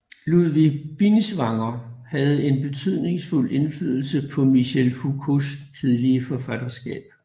Ludwig Binswanger havde en betydningsfuld indflydelse på Michel Foucaults tidlige forfatterskab